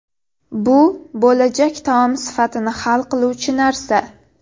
Bu bo‘lajak taom sifatini hal qiluvchi narsa.